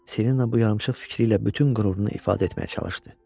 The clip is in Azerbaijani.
Selina bu yarımsıx fikri ilə bütün qürurunu ifadə etməyə çalışdı.